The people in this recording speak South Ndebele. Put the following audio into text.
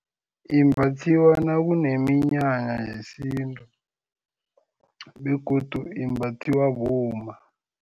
Imbathiwa nakuneminyanya yesintu begodu imbathiwa bomma.